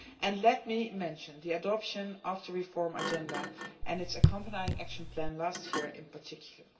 And let me mention the adoption of the reform agenda and its accompanying action plan last year in particular.